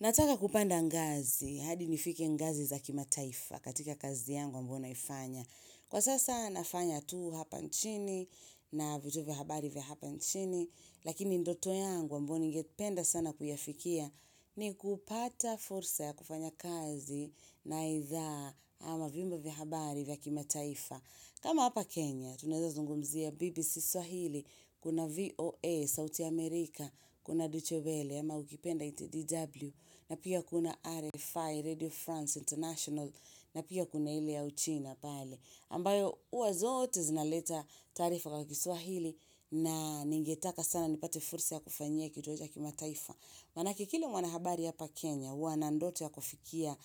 Nataka kupanda ngazi, hadi nifike ngazi za kimataifa katika kazi yangu ambayo naifanya. Kwa sasa nafanya tu hapa nchini na vitu vya habari vya hapa nchini, lakini ndoto yangu ambayo ningependa sana kuyafikia ni kupata fursa ya kufanya kazi na idhaa ama vimbo vya habari vya kimataifa. Kama hapa Kenya, tunaweza zungumzia BBC Swahili, kuna VOA, South America, kuna Duchewele, Yama ukipenda ITDW na pia kuna RFI, Radio France International na pia kuna hile ya uchina pale ambayo hua zote zinaleta tarifa kwa kiswahili na ningetaka sana nipate fursa ya kufanyia kituo cha kimataifa Maanake kila mwanahabari hapa Kenya, wana ndoto ya kufikia